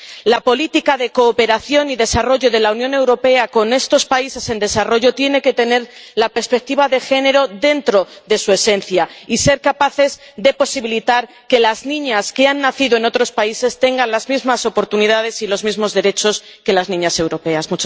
La política de cooperación y desarrollo de la Unión Europea relativa a estos países en desarrollo tiene que tener la perspectiva de género dentro de su esencia y ser capaz de posibilitar que las niñas que han nacido en otros países tengan las mismas oportunidades y los mismos derechos que las niñas europeas.